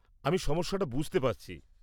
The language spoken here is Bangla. আমি সমস্যাটা বুঝতে পারছি।